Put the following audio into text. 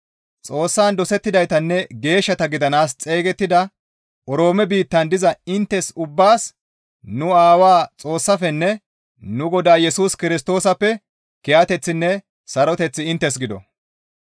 Xoossan dosettidaytanne geeshshata gidanaas xeygettida Oroome biittan diza inttes ubbaas nu Aawaa Xoossaafenne nu Godaa Yesus Kirstoosappe kiyateththinne saroteththi inttes gido.